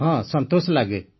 ହଁ ସନ୍ତୋଷ ଲାଗେ